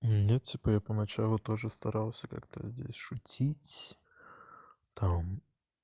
ну типа я поначалу тоже старался как-то здесь шутить там